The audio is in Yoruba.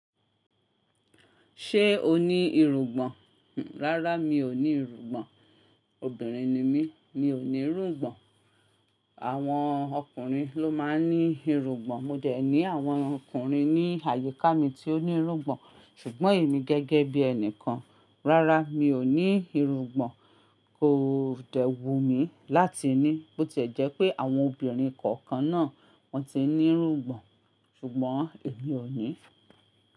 Ṣé o ní irugbọn? Rárá mi ò ní irugbọn. Obìnrin ni mí, mi ò ní irugbọn. Àwọn ọkùnrin ló máa ń ní irugbọn. Mo jẹ̀ ní àwọn ọkùnrin ní àyíká mi tí ó ní irugbọn ṣùgbọ́n èmi gẹ́gẹ́ bí ẹni kan, rárá mi ò ní irugbọn. Ko dẹ̀ wù mí láti ní. Bó ti jẹ́ pé àwọn obìnrin kọ̀ọ̀kan náà wọ́n ti ń ní irugbọn ṣùgbọ́n èmi ò ní.